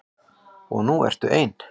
Og nú ertu ein.